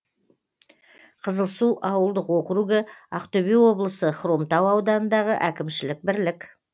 қызылсу ауылдық округі ақтөбе облысы хромтау ауданындағы әкімшілік бірлік